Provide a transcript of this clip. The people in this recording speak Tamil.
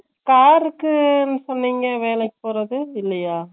car ருக்குனு சொன்னிங்க வேலைக்கு போறது இல்லையா